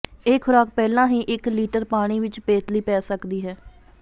ਇਹ ਖ਼ੁਰਾਕ ਪਹਿਲਾਂ ਹੀ ਇਕ ਲਿਟਰ ਪਾਣੀ ਵਿਚ ਪੇਤਲੀ ਪੈ ਸਕਦੀ ਹੈ